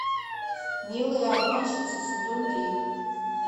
милые обманщицы сезон три